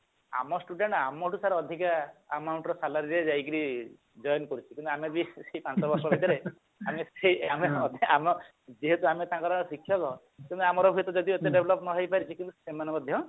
ଆମ student ଆମଠୁ sir ଅଧିକା amount ରେ sir ଯାଇକିରି join କରିଛି କିନ୍ତୁ ଆମେ ବି ସେଇ ଆମେ ସେଇ ଆମେ ଅଧା ଆମ ଯେହେତୁ ଆମେ ତାଙ୍କର ଶିକ୍ଷକ ତେଣୁ ଆମର ସେଟା ଯଦି ଏତେ develop ହେଇ ନପାରିଛି କିନ୍ତୁ ସେମାନେ ମଧ୍ୟ